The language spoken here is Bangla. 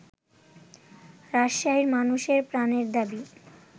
রাজশাহীর মানুষের প্রাণের দাবি